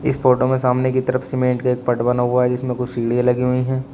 इस फोटो में सामने की तरफ सीमेंट के पट बना हुआ है जिसमें कुछ सीढ़ी लगी हुई है।